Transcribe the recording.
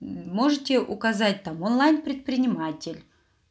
можете указать там онлайн предприниматель